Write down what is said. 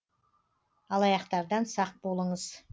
алаяқтардан сақ болыңыз